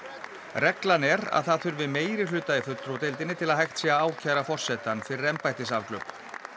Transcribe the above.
reglan er að það þurfi meirihluta í fulltrúadeildinni til að hægt sé að ákæra forsetann fyrir embættisafglöp